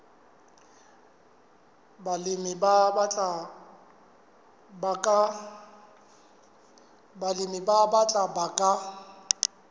balemi ba batjha ba ka